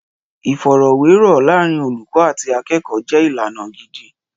Ìfọ̀rọ̀wérọ̀ láàárín olùkọ́ àti akẹ́kọ̀ọ́ jẹ́ ìlànà gidi.